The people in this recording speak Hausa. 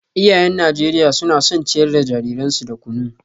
Iyayen Najeriya suna son ciyar da jariransu da kunu